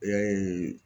Ee